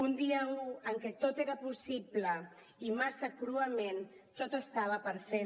un dia un en què tot era possible i massa cruament tot estava per fer